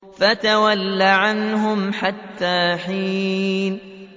فَتَوَلَّ عَنْهُمْ حَتَّىٰ حِينٍ